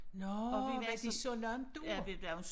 Nåh var I så langt ude?